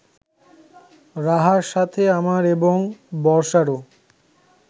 রাহার সাথে আমার এবং বর্ষারও